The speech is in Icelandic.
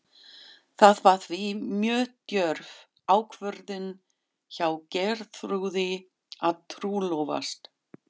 Það var því mjög djörf ákvörðun hjá Geirþrúði að trúlofast